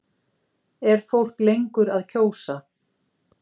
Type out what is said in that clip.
Er fólk lengur að kjósa?